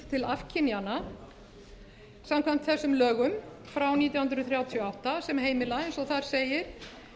til afkynjana samkvæmt þessum lögum frá nítján hundruð þrjátíu og átta sem heimila eins og þar segir